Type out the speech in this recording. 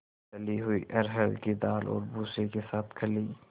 दली हुई अरहर की दाल और भूसे के साथ खली